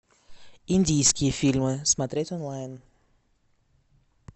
индийские фильмы смотреть онлайн